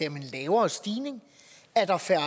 om en lavere stigning er der færre